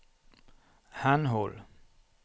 henhold